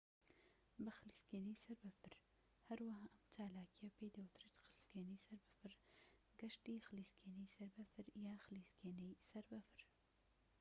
بە خلیسکێنەی سەر بەفر هەروەها ئەم چالاکییە پێی دەوترێت خلیسکێنەی سەر بەفر گەشتی خلیسکێنەی سەر بەفر یان خلیسکێنەی سەر بەفر